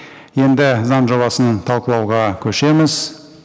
енді заң жобасын талқылауға көшеміз